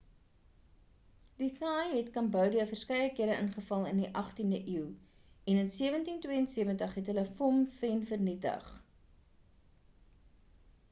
die thais het cambodia verskeie kere ingeval in die 18e eeu en in 1772 het hulle phnom phen vernietig